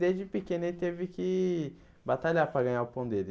Desde pequeno ele teve que batalhar para ganhar o pão dele.